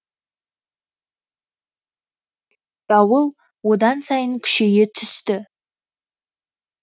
дауыл одан сайын күшейе түсті